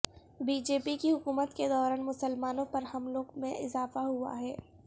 be J P کی حکومت کے دوران مسلمانوں پر حملوں میں اضافہ ہوا ہے